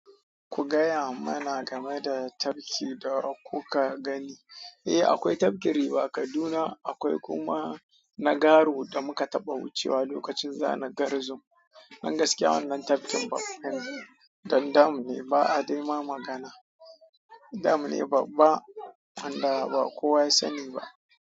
Ku gaya mana game da tafki da kuka gani. Eh, akwai tafkin riva Kaduna. Akwai kuma na garo da muka taɓa wucewa lokacin zanen Garzum. Don gaskiya wannan tafkin dam ne, ba a dai ma magana. Dam ne babba wanda ba kowa ya sani ba.